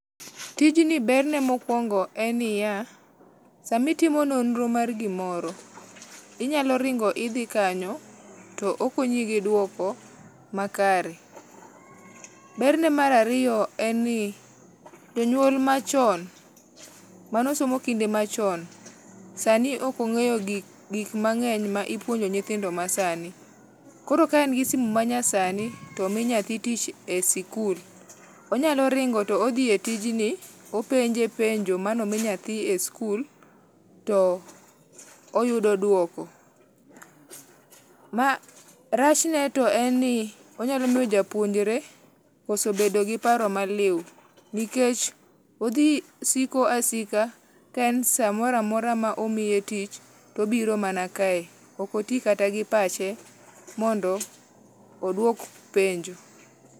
Tijni berne mokuongo en niya, sama itimo nonro mar gimoro, inyalo ringo idhi kanyo to okonyi gi duoko makare. Berne mar ariyo en ni jonyuol machon mane osomo kinde machon sani ok ongeyo gik mangeny mipuonjo nyithindo masani koro kaen gi simu manyasani to omi nyathi tich e sikul onyalo ringo to odhi e tijni openje penjo mane omi nyathi e sikul to oyudo duoko. Rachne to en ni onyalo miyo japuonjre koso bedo gi paro maliw nikech odhi siko asika kaen samoro amora ma omiye tich tobiro mana kae, ok otii kata gi pache mondo oduok penjo